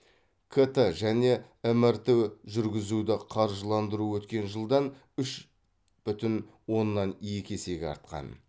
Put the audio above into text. кт және мрт жүргізуді қаржыландыру өткен жылдан үш бүтін оннан екі есеге артқан